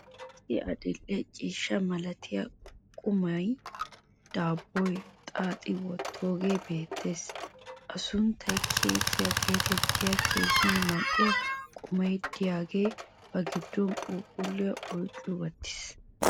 issi adil'e ciishsha malattiya qumay daabbuwa xaaxxidi wotoogee beetees. a sunttay keekkiya geetettiyo keehi mal'iya qummay diyaagee ba giddon phuuphulliya oyqqi wottiis.